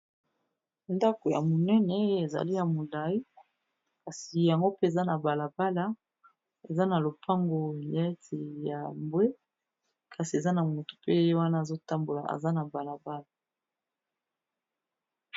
Dako ya monene oyo ezali ya molai. Kasi yango mpe eza na balabala. Eza na lopango neti ya mbwe. Kasi, eza na moto pe ye wana azo tambola. Eza na balabala.